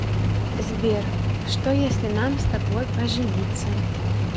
сбер что если нам с тобой пожениться